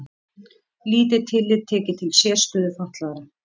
Lítið tillit tekið til sérstöðu fatlaðra